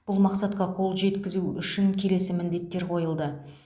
бұл мақсатқа қол жеткізу үшін келесі міндеттер қойылды